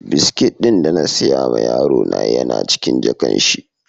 biskit da na siya ma yaro na Yan a cikin jakan shi.